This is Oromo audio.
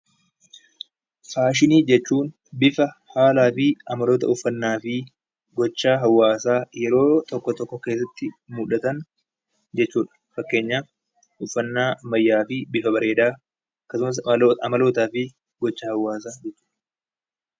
Faashinii jechuun bifa haaraafi haalota uffannaafi gocha hawaasaa yeroo tokko tokko keessatti mudatan jechuudha uffannaa wayyaafi bifa bareedaa